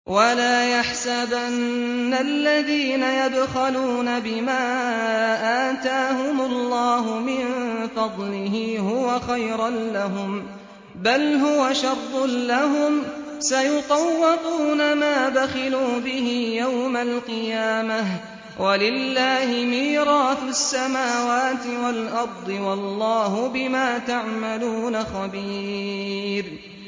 وَلَا يَحْسَبَنَّ الَّذِينَ يَبْخَلُونَ بِمَا آتَاهُمُ اللَّهُ مِن فَضْلِهِ هُوَ خَيْرًا لَّهُم ۖ بَلْ هُوَ شَرٌّ لَّهُمْ ۖ سَيُطَوَّقُونَ مَا بَخِلُوا بِهِ يَوْمَ الْقِيَامَةِ ۗ وَلِلَّهِ مِيرَاثُ السَّمَاوَاتِ وَالْأَرْضِ ۗ وَاللَّهُ بِمَا تَعْمَلُونَ خَبِيرٌ